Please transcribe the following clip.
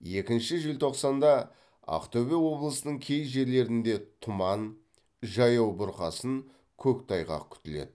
екінші желтоқсанда ақтөбе облысының кей жерлерінде тұман жаяу бұрқасын көктайғақ күтіледі